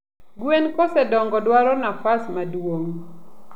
gwen kosedongo dwaro nafas maduong